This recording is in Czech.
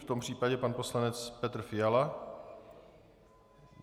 V tom případě pan poslanec Petr Fiala.